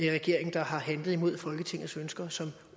regering der har handlet imod folketingets ønsker som